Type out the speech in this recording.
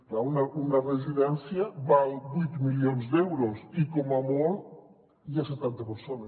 clar una residència val vuit milions d’euros i com a molt hi ha setanta persones